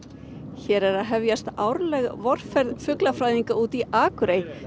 hér er að hefjast árleg vorferð fuglafræðinga út í Akurey